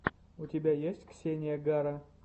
у тебя есть ксения гара